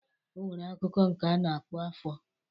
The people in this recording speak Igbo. O nwere akụkụ nke a na-akpọ afọr.